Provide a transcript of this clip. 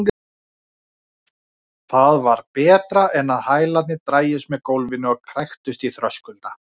Þegar hann svaraði engu bætti hún við: eða ég get ekki séð betur.